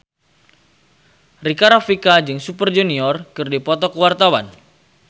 Rika Rafika jeung Super Junior keur dipoto ku wartawan